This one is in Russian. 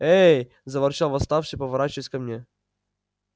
ээ заворчал восставший поворачиваясь ко мне